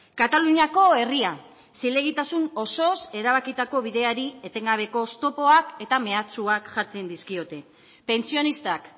kataluniako herria zilegitasun osoz erabakitako bideari etengabeko oztopoak eta mehatxuak jartzen dizkiote pentsionistak